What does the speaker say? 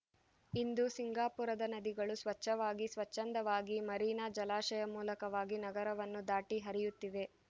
ಇಂದು ಸಿಂಗಾಪುರದ ನದಿಗಳು ಸ್ವಚ್ಛವಾಗಿ ಸ್ವಚ್ಛಂದವಾಗಿ ಮರೀನಾ ಜಲಾಶಯ ಮೂಲಕವಾಗಿ ನಗರವನ್ನು ದಾಟಿ ಹರಿಯುತ್ತಿವೆ